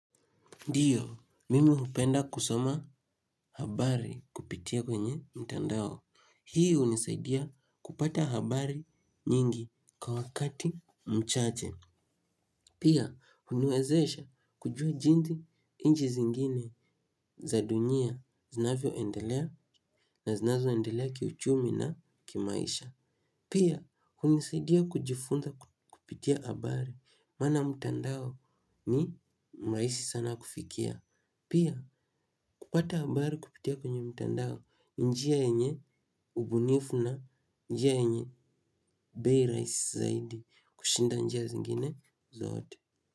Ndiyo, mimi hupenda kusoma habari kupitia kwenye mtandao. Hii unisaidia kupata habari nyingi kwa wakati mchache. Pia, uniwezesha kujua jinsi inji zingine za dunia zinavyo endelea na zinazo endelea kiuchumi na kimaisha. Pia, unisaidia kujifunza kupitia habari maana mtandao ni maisi sana kufikia. Pia kupata habari kupitia kwenye mtandao njia yenye ubunifu na njia yenye bei raisi zaidi kushinda njia zingine zote.